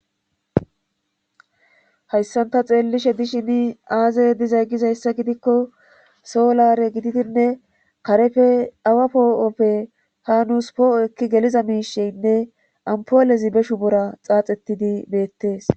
hayssanta xeellishe dishini aaze dizay gizayssa gidikko soolare gididinne karefe awa poo7oppe hanuus poo7o ekki geliza miisheynne ampoolezi beshu bora xaaxettidi beettees